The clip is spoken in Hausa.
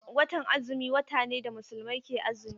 Watan azumi wata ne da Musulmai ke azumi.